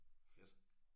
Fedt